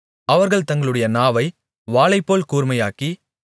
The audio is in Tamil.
அவர்கள் தங்களுடைய நாவை வாளைப்போல் கூர்மையாக்கி